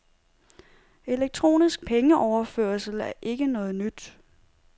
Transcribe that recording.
Elektronisk pengeoverførsel er ikke noget nyt.